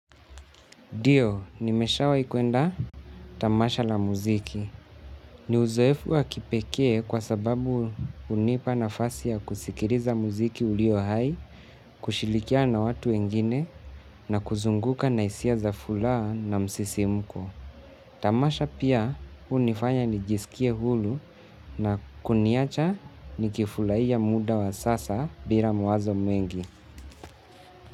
Dio, nimeshawai kwenda tamasha la muziki. Ni uzoefu wa kipekee kwa sababu unipa nafasi ya kusikiriza muziki ulio hai, kushilikiana na watu wengine na kuzunguka na isia za fulaha na msisimko. Tamasha pia hunifanya nijisikie hulu na kuniacha nikifulaia muda wa sasa bila mawazo mwengi.